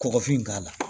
Kɔgɔfin k'a la